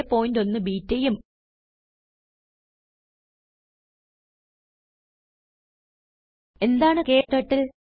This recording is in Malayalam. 081 ബെട്ട ഉം എന്താണ് ക്ടർട്ടിൽ